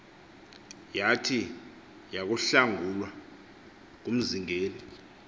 yathi yakuhlangulwa ngumzingeli